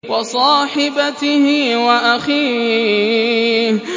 وَصَاحِبَتِهِ وَأَخِيهِ